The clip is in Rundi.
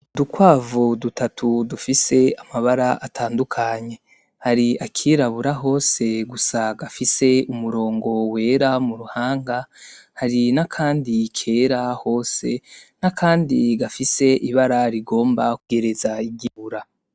Udukwavu dutatu dufise amabara atandukanye, hari akirabura hose gusa gafise umurongo wera mu ruhanga, hari nakandi kera hose, nakandi gafise ibara rigomba kwegereza iryirabura.